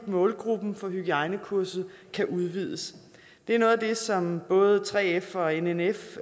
målgruppen for hygiejnekurset udvides det er noget af det som både 3f og nnf